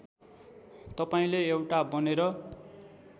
तपाईँले एउटा बनेर